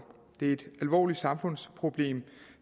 det er et alvorligt samfundsproblem